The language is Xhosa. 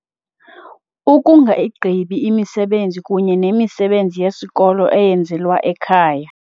Ukungayigqibi imisebenzi kunye nemisebenzi yesikolo eyenzelwa ekhaya.